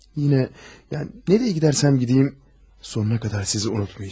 Yenə, yəni, hara gedirəmsə gedim, sonuna qədər sizi unutmayacağam.